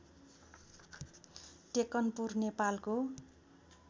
टेकनपुर नेपालको